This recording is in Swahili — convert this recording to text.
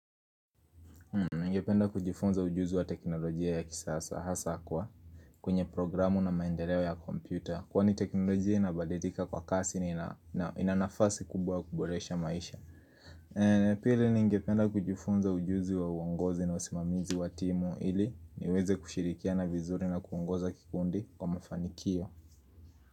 Ningependa kujifunza ujuzi wa teknolojia ya kisasa hasa kwa kwenye programu na maendeleo ya kompyuta Kwani teknolojia inabalidika kwa kasi na ina nafasi kubwa kuboresha maisha Pili ningependa kujifunza ujuzi wa uongozi na usimamizi wa timu ili niweze kushirikiana vizuri na kuongoza kikundi kwa mafanikio.